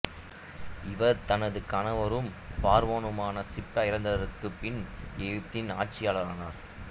இவர் தனது கணவரும் பார்வோனுமான சிப்டா இறந்ததற்குப் பின் எகிப்தின் ஆட்சியாளரானார்